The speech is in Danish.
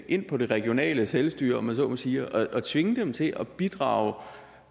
ind på det regionale selvstyre om jeg så må sige og tvinge dem til at bidrage